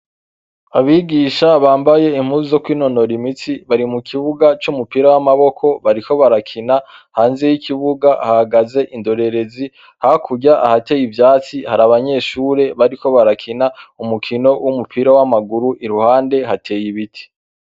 Abigisha bambaye impuzu zo kwinonora imitsi bari mu kibuga c'umupira w'amaboko, bariko barakina. Hanze y'ikibuga hahagaze indorerezi; hakurya, ahateye ivyatsi, hari abanyeshure bariko barakina umukino w'umupira w'amaguru. Iruhande hateye ibiti.